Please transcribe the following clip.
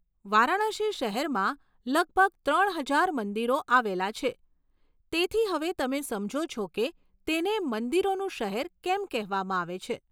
વારાણસી શહેરમાં લગભગ ત્રણ હજાર મંદિરો આવેલા છે, તેથી હવે તમે સમજો છો કે તેને 'મંદિરોનું શહેર' કેમ કહેવામાં આવે છે.